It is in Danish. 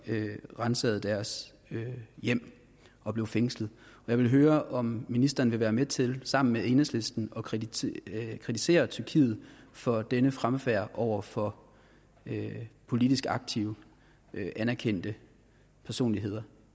ransaget deres hjem og blev fængslet jeg vil høre om ministeren vil være med til sammen med enhedslisten at kritisere kritisere tyrkiet for denne fremfærd over for politisk aktive og anerkendte personligheder